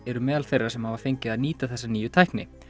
eru meðal þeirra sem hafa fengið að nýta þessa nýju tækni